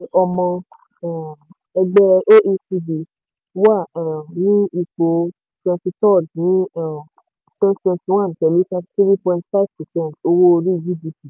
uk ọmọ um ẹgbẹ́ oecd wà um ní ipò 23rd ní um 2021 pẹ̀lú 33.5 percent owó orí/gdp.